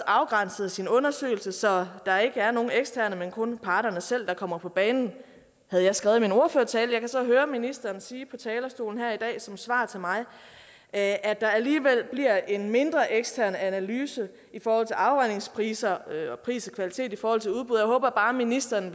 afgrænset sin undersøgelse så der ikke er nogen eksterne men kun parterne selv der kommer på banen det havde jeg skrevet i min ordførertale jeg kan så høre ministeren sige på talerstolen her i dag som svar til mig at der alligevel bliver en mindre ekstern analyse i forhold til afregningspriser og pris og kvalitet i forhold til udbud jeg håber bare ministeren